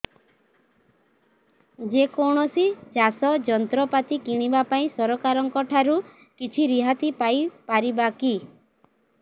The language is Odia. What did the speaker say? ଯେ କୌଣସି ଚାଷ ଯନ୍ତ୍ରପାତି କିଣିବା ପାଇଁ ସରକାରଙ୍କ ଠାରୁ କିଛି ରିହାତି ପାଇ ପାରିବା କି